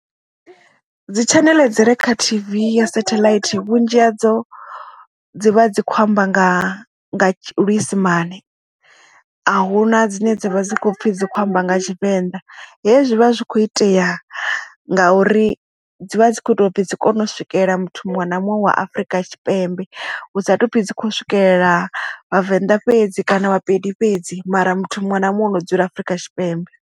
Dzi tshaneḽe dzi re kha TV ya sathelaithi vhunzhi hadzo dzi vha dzi khou amba nga luisimane a huna dzine dzavha dzi kho pfhi dzi khou amba nga tshivenḓa hezwi vha zwi kho itea ngauri dzivha dzi kho ita upfhi dzi kone u swikela muthu muṅwe na muṅwe wa afrika tshipembe hu sa tou pfhi dzi khou swikelela vhavenḓa fhedzi kana vha pedi fhedzi mara muthu muṅwe na muṅwe ano dzula afrika tshipembe.